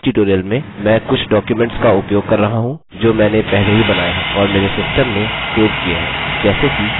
इस ट्यूटोरियम में मैं कुछ डॉक्युमेंट्स का उपयोग कर रहा हूँ जो मैंने पहले ही बनाये हैं और मेरे सिस्टम में सेव किये हैं जैसे कि